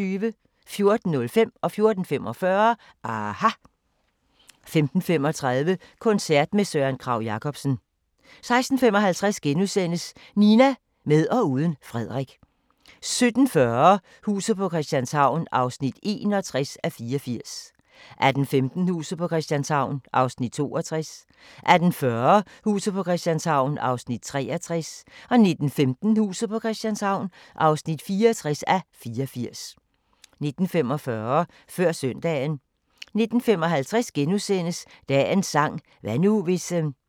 14:05: aHA! 14:45: aHA! 15:35: Koncert med Søren Kragh-Jacobsen 16:55: Nina – med og uden Frederik * 17:40: Huset på Christianshavn (61:84) 18:15: Huset på Christianshavn (62:84) 18:40: Huset på Christianshavn (63:84) 19:15: Huset på Christianshavn (64:84) 19:45: Før Søndagen 19:55: Dagens sang: Hvad nu, hvis *